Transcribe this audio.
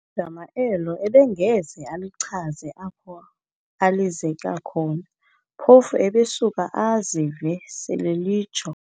Igama elo abengeze alichaze apho alizeke khona, phofu ebesuka azive sel'elitsho.